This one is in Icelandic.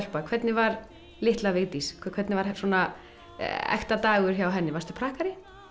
hvernig var litla Vigdís hvernig var svona ekta dagur hjá henni varstu prakkari